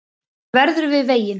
Hann verður við veginn